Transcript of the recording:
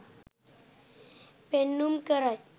පෙන්නුම් කරයි.